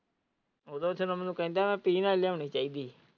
ਉਦੋਂ ਜਦੋਂ ਮੈਨੂੰ ਕਹਿੰਦਾ ਪੀਣ ਵਾਲੀ ਲਿਆਣੀ ਚਾਹੀਦੀ ਸੀ।